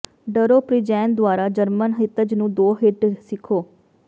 ਡਰੋ ਪ੍ਰਿੰਜੈਨ ਦੁਆਰਾ ਜਰਮਨ ਹਿੱਤਜ਼ ਨੂੰ ਦੋ ਹਿੱਟ ਸਿੱਖੋ